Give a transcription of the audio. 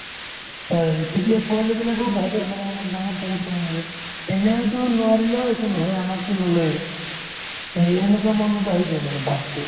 হয় তেতিয়া পোৱালিবিলাকেও ভাবে মানে অলপ ডাঙৰ ডাঙৰ কই বুলি এনেতো নোৱাৰিলেও একো নহয় আমাৰতো নোলায়ে এই সেনেকুৱা মনত ভাবি থই মানে ভাবতো